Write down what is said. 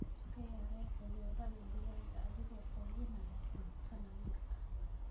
Iska yaree cudurrada digaaga adiga oo quudinaya cunto nadiif ah.